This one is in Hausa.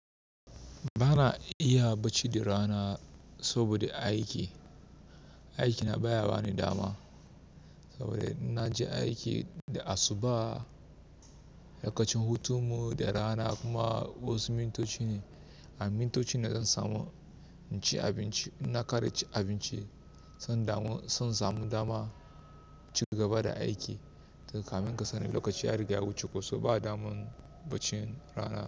Ba na iya bacci da rana saboda aiki. Aiki na ba ya bani dama. Saboda inna je aiki da asuba, lokacin hutun mu da rana kuma wasu mintoci ne, a mintocin nan zan samu in ci abinci, inna kare cin abinci, zan damu zan samu dama inci gaba da aiki. Kamin kasani lokaci ya riga ya wuce kuma ba daman bacin rana.